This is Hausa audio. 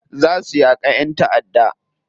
Za su yaka yan ta'adda.